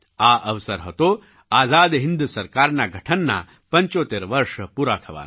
આ અવસર હતો આઝાદ હિન્દ સરકારના ગઠનનાં 75 વર્ષ પૂરા થવાનો